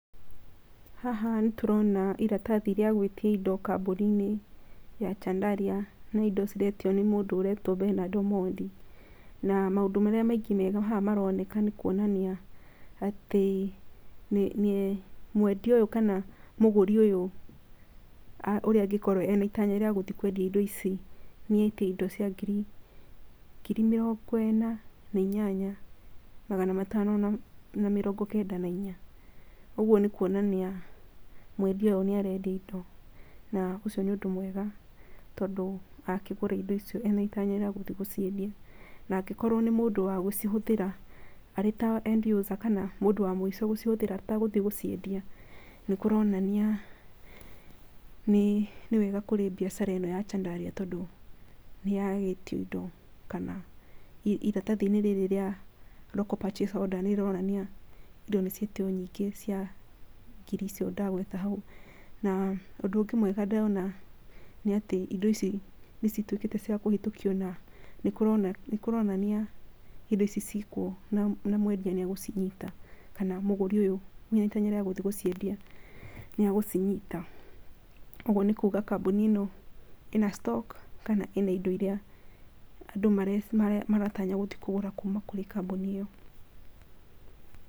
Haha nĩ tũrona iratathi rĩa gũitia indo kambũninĩ ya Chandaria, nĩ indo ciretio nĩ mũndũ aretwo Benard Omondi. Na maũndũ marĩa maingĩ mega haha maroneka nĩ kũonania atĩ, mwendia ũyũ kana mũgũri ũyũ ũrĩa angĩkorwo ena itanya rĩagũthi kwendia indo ici, nĩ etia indo cia ngiri, ngiri mĩrongo ĩna na inyanya, magana matano na mĩrongo kenda na inya, ũguo nĩ kwonania mwendia ũyũ nĩarendia indo na ũcio nĩ ũndũ mwega tondũ angĩgũra indo icio ena itanya rĩa gũciendia. Na angĩkorwo nĩ mũndũ wagũcihũthĩra arĩ ta end user kana mũndũ wa mũico gũcihũthĩra atenatthi gũciendia nĩ kũronania nĩwega kũrĩ biacara ĩno ya Chandaria, tondũ nĩ yagĩtio indo kana iratathi rĩrĩ rĩa local purchase order nĩ rĩronania indo nĩ cietio nyingĩ cia ngiri icio ndagweta hau. Na ũndũ ũngĩ mwega ndĩrona nĩ atĩ, indo ici nĩ cituĩkĩte ciakũhĩtukĩa, na nĩ kũronania indo ici cikuo na mwendia nĩ agũcinyita, kana mũgũri ũyũ ithenya rĩa gũthii gũciendia nĩa gũcinyita. Ũguo nĩ kuga kambũni ĩno ĩna stock kana ĩna indo iria andũ maratanya gũthiĩ kũgũra kũrĩ gwĩ kambuni ĩyo.